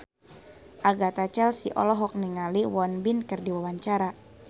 Agatha Chelsea olohok ningali Won Bin keur diwawancara